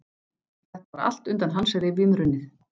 Þetta var allt undan hans rifjum runnið.